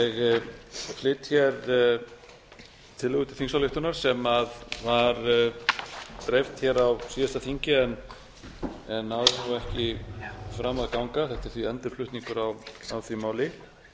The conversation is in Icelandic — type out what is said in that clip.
ég flyt hér tillögu til þingsályktunar sem var dreift hér á síðasta þingi en náði þá ekki fram að ganga þetta er því endurflutningur á því máli